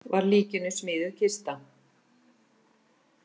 Var líkinu smíðuð kista.